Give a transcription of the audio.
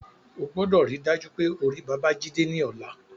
O gbọdọ̀ ríi dájú pé o rí Babájídé ní ọ̀la